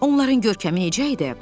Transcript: Onların görkəmi necə idi?